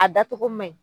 A dacogo man ɲi